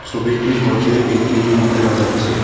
ছবিটির মধ্যে একটি রুম দেখা যাচ্ছে।